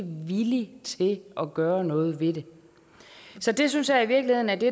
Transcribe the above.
villig til at gøre noget ved det så det synes jeg i virkeligheden er det